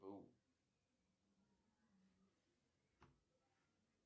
афина какие вредные привычки имеет наталья андреевна